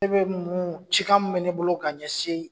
Ne be mun cikan min be ne bolo ka ɲɛsin